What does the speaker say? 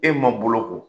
E ma boloko